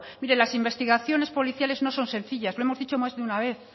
mire las investigaciones policiales no son sencillas lo hemos dicho más de una vez